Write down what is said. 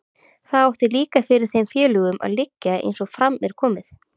Það átti líka fyrir þeim félögunum að liggja, eins og fram er komið.